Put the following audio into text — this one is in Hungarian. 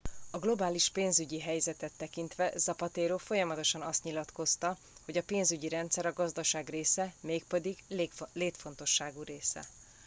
"a globális pénzügyi helyzetet tekintve zapatero folyamatosan azt nyilatkozta hogy "a pénzügyi rendszer a gazdaság része mégpedig létfontosságú része.